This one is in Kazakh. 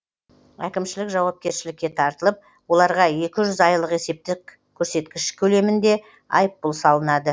әкімшілік жауапкершілікке тартылып оларға екі жүз айлық есептік көрсеткіш көлемінде айыппұл салынады